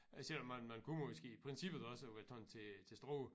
Selvom man man kunne måske i princippet også være tagen til til Struer